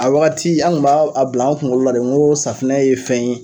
A wagati an kun b'a a bila an kunkolo la de n ko safinɛ ye fɛn ye